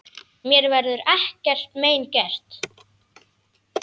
Mér verður ekkert mein gert.